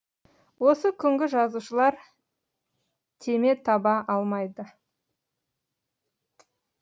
осы күнгі жазушылар теме таба алмайды